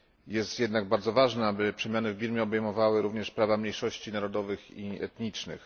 Jest jednak bardzo ważne, aby przemiany w Birmie obejmowały również prawa mniejszości narodowych i etnicznych.